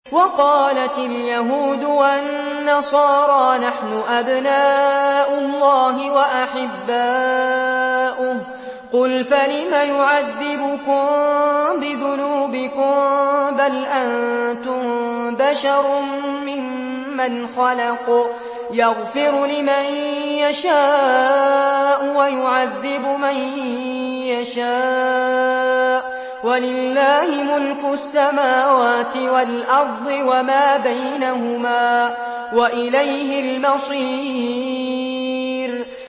وَقَالَتِ الْيَهُودُ وَالنَّصَارَىٰ نَحْنُ أَبْنَاءُ اللَّهِ وَأَحِبَّاؤُهُ ۚ قُلْ فَلِمَ يُعَذِّبُكُم بِذُنُوبِكُم ۖ بَلْ أَنتُم بَشَرٌ مِّمَّنْ خَلَقَ ۚ يَغْفِرُ لِمَن يَشَاءُ وَيُعَذِّبُ مَن يَشَاءُ ۚ وَلِلَّهِ مُلْكُ السَّمَاوَاتِ وَالْأَرْضِ وَمَا بَيْنَهُمَا ۖ وَإِلَيْهِ الْمَصِيرُ